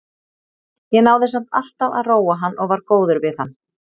Ég náði samt alltaf að róa hann og var góður við hann.